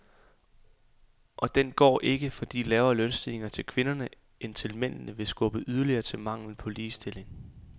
Og den går ikke, fordi lavere lønstigninger til kvinderne end til mændene vil skubbe yderligere til manglen på ligestilling.